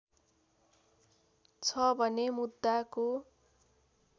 छ भने मुद्दाको